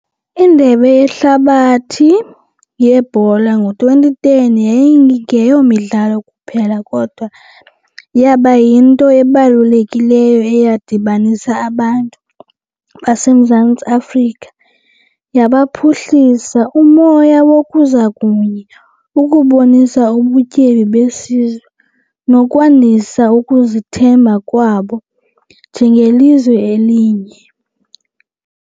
Indebe yehlabathi yebhola ngo-twenty ten yayingeyo midlalo kuphela kodwa yaba yinto ebalulekileyo eyadibanisa abantu baseMzantsi Afrika yabaphuhlisa umoya wokuza kunye ukubonisa ubutyebi besizwe nokwandisa ukuzithemba kwabo njengelizwe elinye.